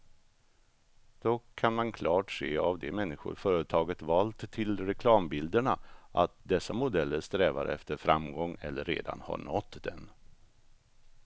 Dock kan man klart se av de människor företaget valt till reklambilderna, att dessa modeller strävar efter framgång eller redan har nått den.